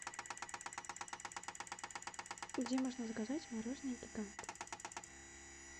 где можно заказать мороженное гигант